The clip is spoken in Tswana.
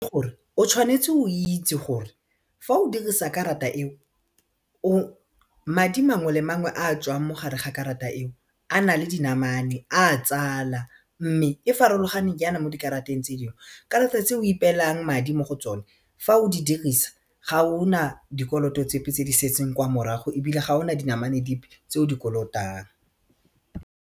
O tshwanetse o itse gore fa o dirisa karata eo o madi mangwe le mangwe a tswang mogare ga karata eo a nale dinamane a tsala mme e farologane jaana mo dikarateng tse dingwe karata tse o ipeelang madi mo go tsone fa o di dirisa ga o na dikoloto tsepe tse di setseng kwa morago ebile ga o na dinamane dipe tse o di kolotang.